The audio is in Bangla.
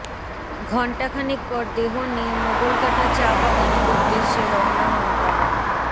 ঘন্টা খানেক পর দেহ নিয়ে মোগলকাটা চা বাগানের উদ্দেশ্যে রওনা হন তারা